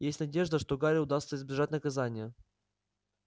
есть надежда что гарри удастся избежать наказания